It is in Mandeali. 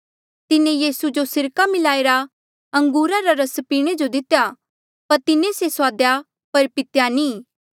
तिन्हें यीसू जो सिरका मिलाईरा अंगूरा रा रस पीणे जो दितेया पर तिन्हें से सुआदेया पर पितेया नी